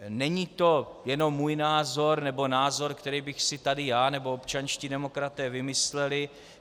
Není to jenom můj názor nebo názor, který bychom si tady já nebo občanští demokraté vymysleli.